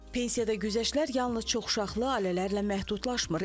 Pensiyada güzəştlər yalnız çoxuşaqlı ailələrlə məhdudlaşmır.